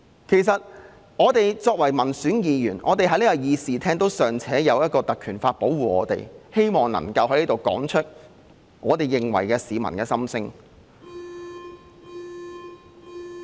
其實，作為民選議員，我們在這個議事廳尚且有《立法會條例》保護，能夠在這裏說出我們認為的市民心聲。